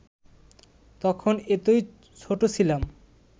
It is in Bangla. তখন এতই ছোট ছিলাম